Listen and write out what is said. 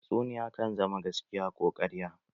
Tatsuniya kan zama gaskiya ko ƙarya.